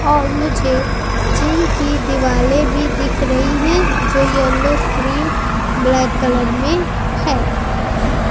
और मुझे जिम की दीवारें भी लिखकलर में है जो येल्लो क्रीम ब्लैक कलर में हैं।